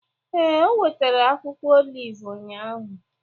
Ee, o wetara akwụkwọ oliv ụnyahụ.